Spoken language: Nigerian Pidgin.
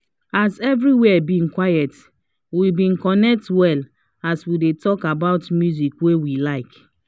as every where been quiet we been connect well as we dey talk about musics wey we like